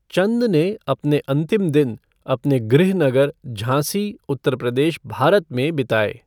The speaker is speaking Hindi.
चंद ने अपने अंतिम दिन अपने गृह नगर झांसी, उत्तर प्रदेश, भारत में बिताए।